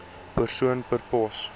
persoon per pos